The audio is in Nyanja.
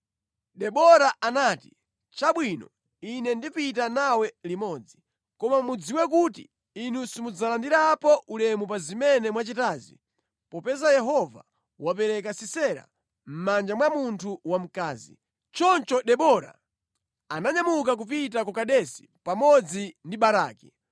Debora anati, “Chabwino, ine ndipita nawe limodzi. Koma mudziwe kuti inu simudzalandirapo ulemu pa zimene mwachitazi popeza Yehova wapereka Sisera mʼmanja mwa munthu wamkazi.” Choncho Debora ananyamuka kupita ku Kedesi pamodzi ndi Baraki.